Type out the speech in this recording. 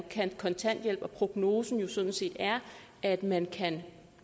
kontanthjælp og prognosen jo sådan set er at man kan